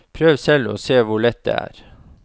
Prøv selv og se hvor lett det er!